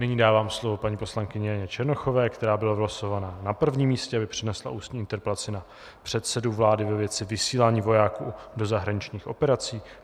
Nyní dávám slovo paní poslankyni Janě Černochové, která byla vylosována na prvním místě, aby přednesla ústní interpelaci na předsedu vlády ve věci vysílání vojáků do zahraničních operací.